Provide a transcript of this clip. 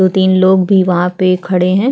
दो तीन लोग भी वहाँ पे खड़े है।